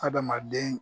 Adamaden